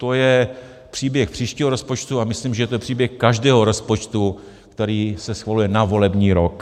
To je příběh příštího rozpočtu a myslím, že to je příběh každého rozpočtu, který se schvaluje na volební rok.